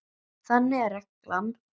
Þannig er reglan.